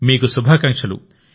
మీకు శుభాకాంక్షలు